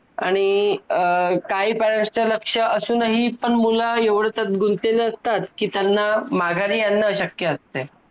आणि अं काही parents तर लक्ष असूनही पण मुलं त्यात एवढे गुंतलेले असतात कि त्यांना माघारी आणण अशक्य असते